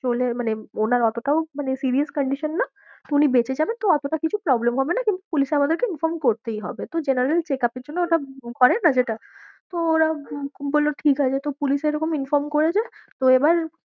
চলে মানে ওনার অতটাও মানে serious condition না, উনি বেঁচে যাবেন তো অতটা কিছু problem হবে না, কিন্তু পুলিশে আমাদেরকে inform করতেই হবে, তো general check up এর জন্য ওটা করে না যেটা তো ওরা বললো ঠিক আছে, যেহেতু পুলিশে এরকম inform করেছে তো এবার